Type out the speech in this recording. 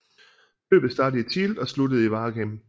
Løbet startede i Tielt og sluttede i Waregem